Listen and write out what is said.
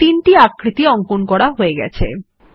এখন আমরা তিনটি আকৃতির অঙ্কন করা হয়ে গেছে